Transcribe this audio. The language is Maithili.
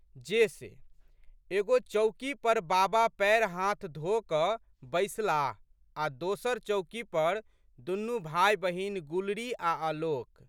जे से। एगो चौकी पर बाबा पएर हाथ धो कऽ बैसलाह आ दोसर चौकी पर दुनू भाइबहिन गुलरी आ' आलोक।